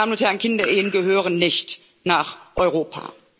Meine Damen und Herren, Kinderehen gehören nicht nach Europa.